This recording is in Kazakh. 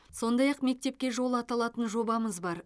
сондай ақ мектепке жол аталатын жобамыз бар